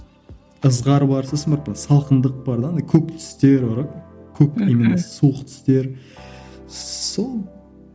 ызғар бар сосын барып салқындық бар да андай көк түстер бар ғой көк немене суық түстер сол